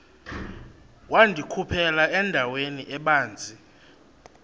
wandikhuphela endaweni ebanzi